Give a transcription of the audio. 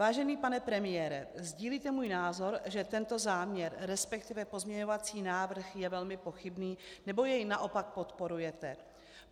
Vážený pane premiére, sdílíte můj názor, že tento záměr, respektive pozměňovací návrh je velmi pochybný, nebo jej naopak podporujete?